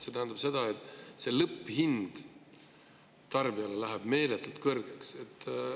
See tähendab, et lõpphind tarbijale läheb meeletult kõrgeks.